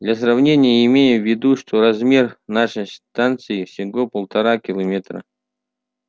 для сравнения имей в виду что размер нашей станции всего полтора километра